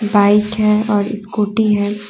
Bike है और scooty है।